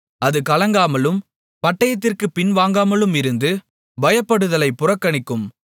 அது கலங்காமலும் பட்டயத்திற்குப் பின்வாங்காமலுமிருந்து பயப்படுதலை புறக்கணிக்கும்